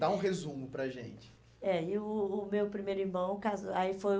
Dá um resumo para a gente. Eh e o o o meu primeiro irmão casou, aí foi